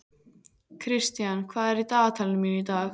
Kristian, hvað er í dagatalinu mínu í dag?